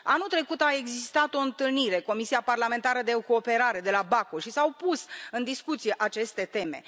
Anul trecut a existat o întâlnire, Comisia parlamentară de cooperare de la Baku, și s au pus în discuție aceste teme.